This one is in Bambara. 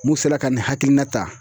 Mun sera ka nin hakilina ta